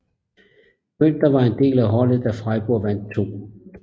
Günter var del af holdet da Freiburg vandt 2